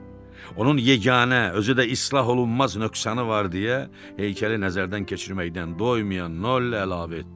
Onun yeganə, özü də islah olunmaz nöqsanı var deyə heykəli nəzərdən keçirməkdən doymayan Noll əlavə etdi.